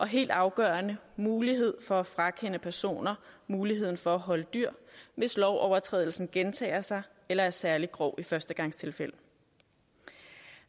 helt afgørende muligheden for at frakende personer muligheden for at holde dyr hvis lovovertrædelsen gentager sig eller er særlig grov i førstegangstilfælde